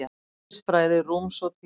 Eðlisfræði rúms og tíma.